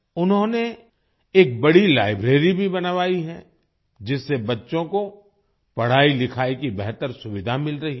उन्होंने एक बड़ी लाइब्रेरी भी बनवाई है जिससे बच्चों को पढाईलिखाई की बेहतर सुविधा मिल रही है